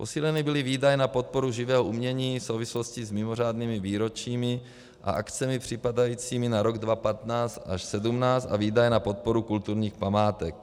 Posíleny byly výdaje na podporu živého umění v souvislosti s mimořádnými výročími a akcemi připadajícími na rok 2015 až 2017 a výdaje na podporu kulturních památek.